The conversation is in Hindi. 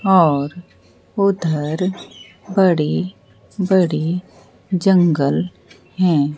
और उधर बड़ी बड़ी जंगल हैं।